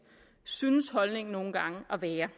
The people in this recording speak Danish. synes holdningen nogle gange at være